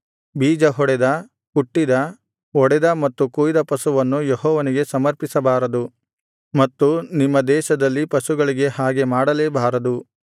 ಬೀಜಹೊಡೆದ ಕುಟ್ಟಿದ ಒಡೆದ ಮತ್ತು ಕೊಯ್ದ ಪಶುವನ್ನು ಯೆಹೋವನಿಗೆ ಸಮರ್ಪಿಸಬಾರದು ಮತ್ತು ನಿಮ್ಮ ದೇಶದಲ್ಲಿ ಪಶುಗಳಿಗೆ ಹಾಗೆ ಮಾಡಲೇ ಬಾರದು